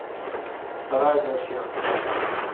рай для всех